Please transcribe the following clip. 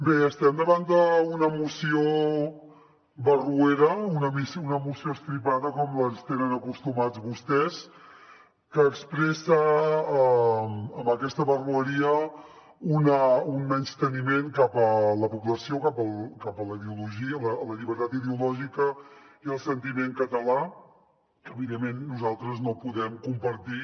bé estem davant d’una moció barroera una moció estripada com ens tenen acostumats vostès que expressa amb aquesta barroeria un menysteniment cap a la població cap a la ideologia la llibertat ideològica i el sentiment català que evidentment nosaltres no podem compartir